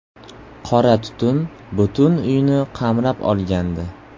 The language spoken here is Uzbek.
Qora tutun butun uyni qamrab olgandi.